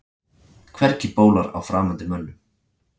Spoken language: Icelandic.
Hvergi bólar á framandi mönnum.